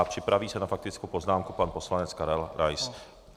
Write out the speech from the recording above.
A připraví se na faktickou poznámku pan poslanec Karel Rais.